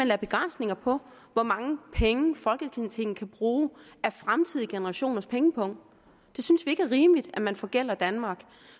lagde begrænsninger på hvor mange penge folketinget kan bruge af fremtidige generationers pengepung vi synes ikke det er rimeligt at man forgælder danmark